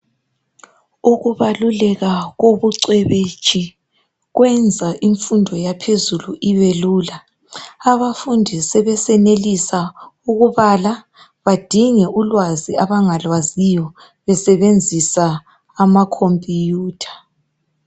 Ukubalulela kobucwebetshi kwenza imfundo yaphezelu ibelula. Abafundi sebe senelisa ukubala badinge ulwazi abangalwaziyo besebenzisa amakhompiyutha.